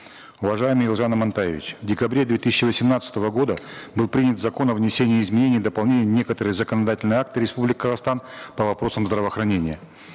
уважаемый елжан амантаевич в декабре две тысячи восемнадцатого года был принят закон о внесении изменений дополнений в некоторые законодательные акты республики казахстан по вопросам здравоохранения